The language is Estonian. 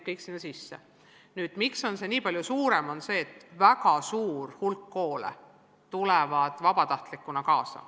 Põhjus, miks tegelik arv on palju suurem, on see, et väga suur hulk koole tuleb vabatahtlikuna kaasa.